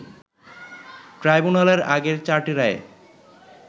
ট্রাইব্যুনালের আগের চারটি রায়ে